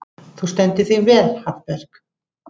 Þú stendur þig vel, Hallberg!